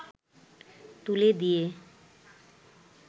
তুলে দিয়ে